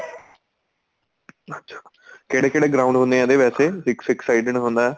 ਅੱਛਾ ਕਿਹੜੇ ਕਿਹੜੇ ground ਹੁਣੇ ਏ ਨਾ ਵੈਸੇ six side ਹੁੰਦਾ